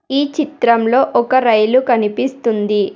ఈ చిత్రంలో ఒక రైలు కనిపిస్తుంది.